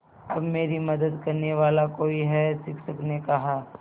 अब मेरी मदद करने वाला कोई है शिक्षक ने कहा